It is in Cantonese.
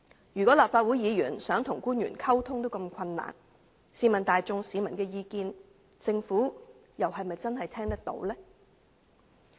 如果連立法會議員想跟官員溝通也如此困難，試問大眾市民的意見，政府又是否真的聽得到呢？